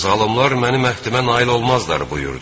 Zalımlar mənim əhdimə nail olmazlar" buyurdu.